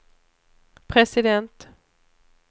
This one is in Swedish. president